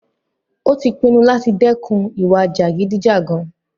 Ó tí pinnu láti dẹ́kun ìwà jàgídíjàgan.